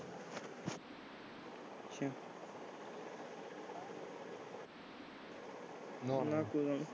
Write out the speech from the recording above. ਨਾ ਨਾ ਕੋਈ ਨਾ।